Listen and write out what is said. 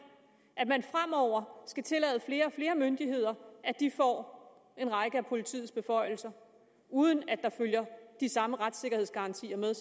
at man fremover skal tillade flere og flere myndigheder at de får en række af politiets beføjelser uden at der følger de samme retssikkerhedsgarantier med